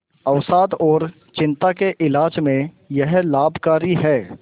अवसाद और चिंता के इलाज में यह लाभकारी है